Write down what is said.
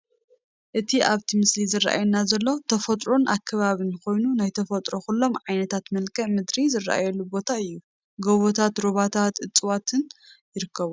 እቲ ኣብቲ ምስሊ ዝራኣየና ዘሎ ተፈጥሮን ኣከባብን ኮይኑ ናይ ተፈጥሮ ኩሎም ዓይነታት መልክኣ ምድሪ ዝራኣየሉ ቦታ እዩ፡፡ ጎቦታት፣ ሩባታትን እፀዋትን ይርከብዎም፡፡